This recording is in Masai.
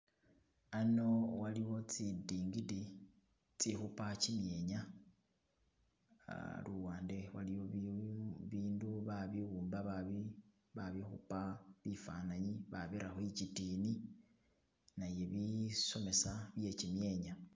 Ano waliwo tsi ndingidi itsi khupa kimyenya uh luwande waliyo ibindu babibumba babikhupa bifananyi babira khwitikini naye ibisomesa bye kimyenya.